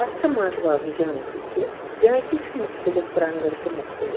.اَتھ چھ منٛزباگ جھانٛکی تہِ جھانٛکی چھ مُختٔلِف رنٛگو تہٕ مُختٔلِف